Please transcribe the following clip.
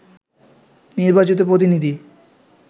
নির্বাচিত প্রতিনিধি